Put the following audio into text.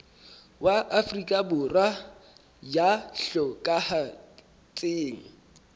wa afrika borwa ya hlokahetseng